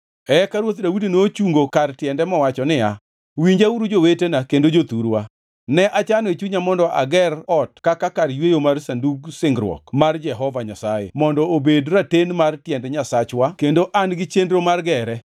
Eka Ruoth Daudi nochungo kar tiende mowacho niya, “Winjauru jowetena kendo jothurwa. Ne achano e chunya mondo ager ot kaka kar yweyo mar Sandug Singruok mar Jehova Nyasaye mondo obed raten mar tiend Nyasachwa kendo ne an gi chenro mar gere.